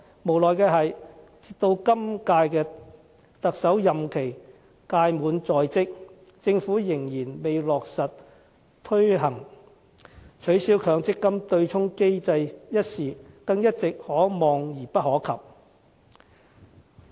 無奈的是，直到今屆特首任期屆滿在即，政府仍然未落實推行，取消強積金對沖機制一事一直可望而不可及。